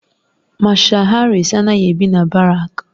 Mashal Harris anaghị ebi na barak